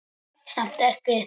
Samt ekki.